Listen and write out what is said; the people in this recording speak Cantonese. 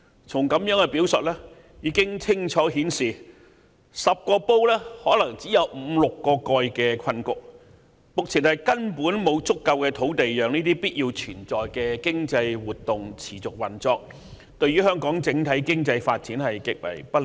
從以上表述已可清楚顯示，在這方面將出現10個煲可能只有五六個蓋的困局，目前根本沒有足夠土地讓這些必須存在的經濟活動持續運作，這對香港的整體經濟發展將極為不利。